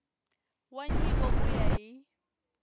wa nyiko ku ya hi